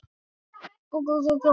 Þá stífnar hún upp.